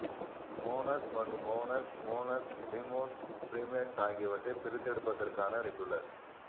மோனோஸ் மற்றும் மோனோஸ் மோனோஸ் டிமோஸ் ப்ரீமேட்ஸ் ஆகியவற்றைப் பிரித்தெடுப்பதற்கான ரெகுலர்